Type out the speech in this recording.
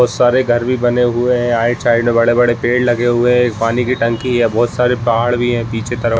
बहुत सारे घर भी बने हुए हैं साइड-साइड में बड़े-बड़े पेड़ लगे हुए हैं एक पानी की टंकी है बहुत सारे पहाड़ भी है पीछे तरफ।